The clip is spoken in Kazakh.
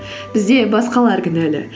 бізде басқалар кінәлі